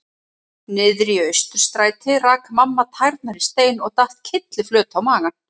Niðri í Austurstræti rak mamma tærnar í stein og datt kylliflöt á magann.